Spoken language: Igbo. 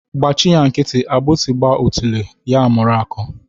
Gbachị ya nkịtị, agbịsị gba otule ya mụrụ akọ.